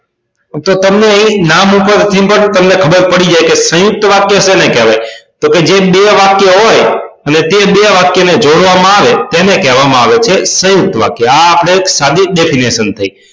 તો તમને એક નામ પરથી પણ ખબર પડી જાય કે સયુંકત વાક્ય કોને કહેવાય તો કે જે બે વાક્ય હોય તે બે વાક્ય ને જોડવામાં આવે તેને કહેવામાં આવે છે સયુંકત વાક્ય આ આપની સાદી definition થઈ